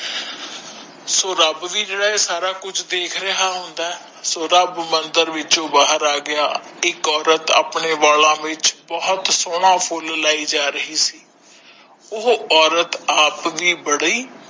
ਸੋ ਰਬ ਵੀ ਜੇੜਾ ਏਹ ਸਾਰਾ ਕੂਚ ਦੇਖ ਰਿਹਾ ਹੁੰਦਾ ਹੈ ਸੋ ਰਬ ਮੰਦਿਰ ਵਿਚ ਬਹਾਰ ਆਗਯਾ ਇਕ ਔਰਤ ਅਪਣੇ ਬਾਲਾਂ ਵਿਚ ਬਹੋਤ ਫੁਲ ਲਾਈ ਜਾ ਰਹੀ ਸੀ ਓਹੁ ਔਰਤ ਆਪ ਭੀ